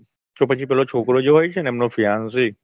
તો પછી પેલો છોકરો જે હોય છે ને એમનો fiance